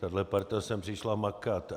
Tahle parta sem přišla makat.